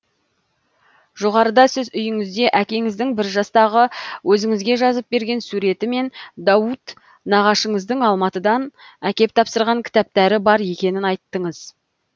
жоғарыда сіз үйіңізде әкеңіздің бір жастағы өзіңізге жазып берген суреті мен дауд нағашыңыздың алматыдан әкеп тапсырған кітаптары бар екенін айттыңыз